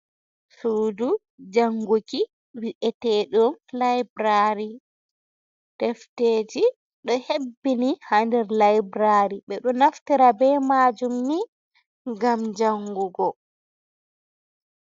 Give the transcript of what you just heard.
Suudu jannguki vi’eteeɗum layburari, defteji ɗo hebbini haa nder layburari, ɓe ɗo naftira be maajum ni, ngam janngugo.